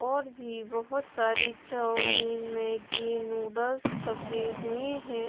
और भी बहुत सारी चौउमीन मैगी नूडल्स छपी हुई है।